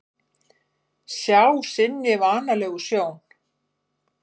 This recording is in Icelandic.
Sjá sinni vanalegu sjón.